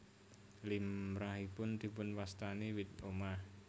Limrahipun dipunwastani wit omah